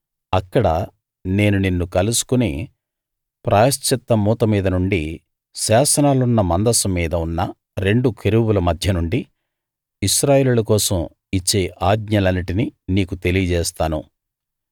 అక్కడ నేను నిన్ను కలుసుకుని ప్రాయశ్చిత్త మూత మీద నుండి శాసనాలున్న మందసం మీద ఉన్న రెండు కెరూబుల మధ్య నుండి ఇశ్రాయేలీయుల కోసం ఇచ్చే ఆజ్ఞలన్నిటినీ నీకు తెలియజేస్తాను